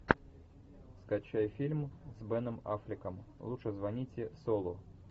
скачай фильм с беном аффлеком лучше звоните солу